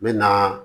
N bɛ na